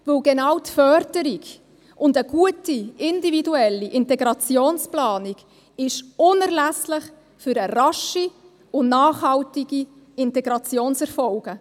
Denn genau die Förderung und eine gute, individuelle Integrationsplanung sind unerlässlich für rasche und nachhaltige Integrationserfolge.